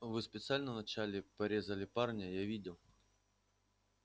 вы специально вначале порезали парня я видел